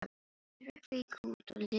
Þeir hrukku í kút og litu við.